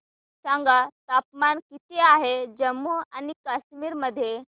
सांगा तापमान किती आहे जम्मू आणि कश्मीर मध्ये